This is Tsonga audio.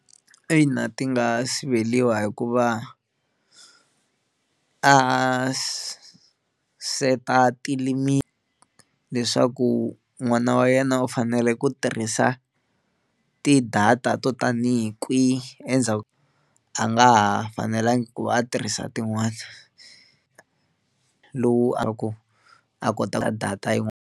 Ina ti nga siveliwa hikuva a set-a tilimiti leswaku n'wana wa yena u fanele ku tirhisa ti-data to tanihi kwihi endzhaku a nga ha fanelanga ku va a tirhisa tin'wani lowu a ku a kotaka data yin'wana.